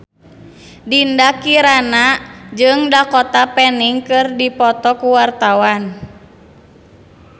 Dinda Kirana jeung Dakota Fanning keur dipoto ku wartawan